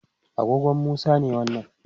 agogon Musa ne wannan